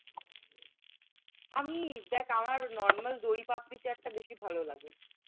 আমি দেখ আমার normal দই পাপরি চাট টা বেশি ভালো লাগে।